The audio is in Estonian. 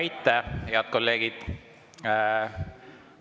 Aitäh, head kolleegid!